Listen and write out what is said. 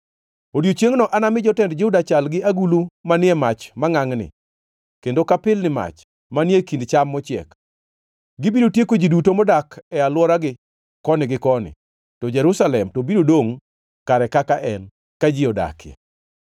“Odiechiengno anami jotend Juda chal gi agulu manie mach mangʼangʼni, kendo ka pilni mach manie kind cham mochiek. Gibiro tieko ji duto modak e alworagi koni gi koni, to Jerusalem to biro dongʼ kare kaka en, ka ji odakie.